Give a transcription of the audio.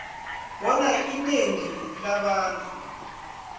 bona inengi labantu